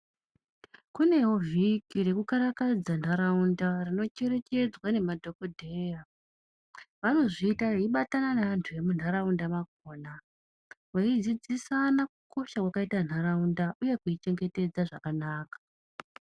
Kunewo vhiki rekukarakadza nharaunda rinocherechedzwa nemadhokodheya , avnozviita veibata nevantu vemunharaunda makona veidzidzisana kukosha kwakaita nharaunda uye kuchengetedza zvakanaka.